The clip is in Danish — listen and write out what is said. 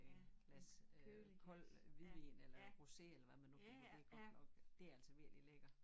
Med en glas øh koldt hvidvin eller rosé eller hvad man nu kan det godt nok nok det altså virkelig lækkert